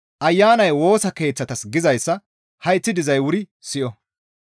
«Ayanay Woosa Keeththatas gizayssa hayththi dizay wuri siyo!